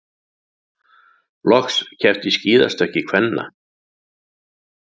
Loks keppt í skíðastökki kvenna